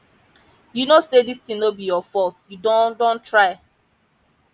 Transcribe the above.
you no say dis thing no be your fault you don don try